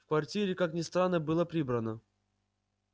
в квартире как ни странно было прибрано